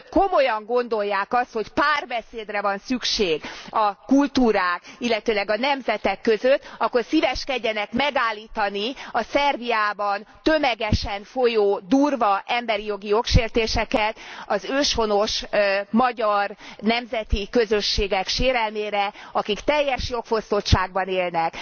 Hogy ha Önök komolyan gondolják azt, hogy párbeszédre van szükség a kultúrák, illetőleg a nemzetek között, akkor szíveskedjenek megállítani a Szerbiában tömegesen folyó durva emberi jogi jogsértéseket az őshonos magyar nemzeti közösségek sérelmére, akik teljes jogfosztottságban élnek.